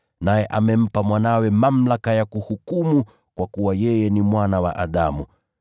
Naye amempa Mwanawe mamlaka ya kuhukumu kwa kuwa yeye ni Mwana wa Adamu.